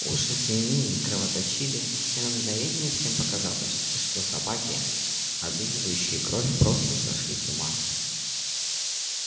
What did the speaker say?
уши свиней кровоточили и на мгновение всем показалось что собаки облизывающие кровь просто сошли с ума